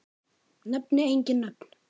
Nefni engin nöfn.